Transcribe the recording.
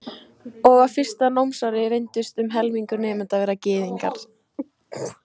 Og á fyrsta námsári reyndist um helmingur nemenda Gyðingar.